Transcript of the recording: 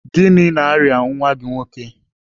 Gịnị na-arịa nwa gị nwoke?